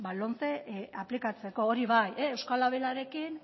lomce aplikatzeko hori bai eusko labelarekin